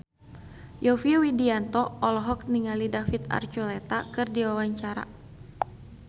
Yovie Widianto olohok ningali David Archuletta keur diwawancara